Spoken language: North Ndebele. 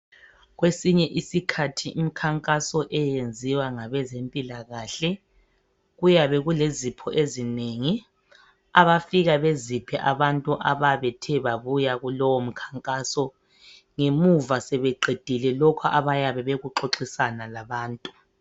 Kwesinye isikhathi imikhankaso eyenziwa ngabezempilakahle kuyabe kulezipho ezinengi abafika beziphe abantu abathe babuya kulowo mkhankaso ngemuva sebeqedile lokhu abayabe bakuxoxisana labantu.